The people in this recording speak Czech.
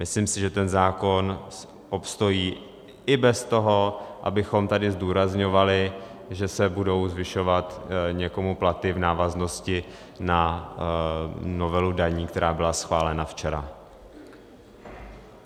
Myslím si, že ten zákon obstojí i bez toho, abychom tady zdůrazňovali, že se budou zvyšovat někomu platy v návaznosti na novelu daní, která byla schválena včera.